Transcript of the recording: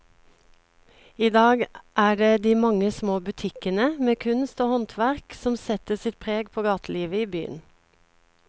I dag er det de mange små butikkene med kunst og håndverk som setter sitt preg på gatelivet i byen.